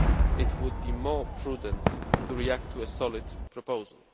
it would be more prudent to react to a solid proposal.